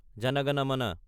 জনা গানা মানা